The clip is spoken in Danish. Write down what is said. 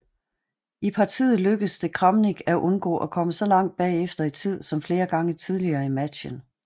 I partiet lykkedes det Kramnik at undgå at komme så langt bagefter i tid som flere gange tidligere i matchen